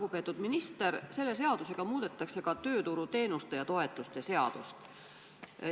Lugupeetud minister, selle seadusega muudetakse ka tööturuteenuste ja -toetuste seadust.